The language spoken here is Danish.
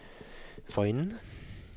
forinden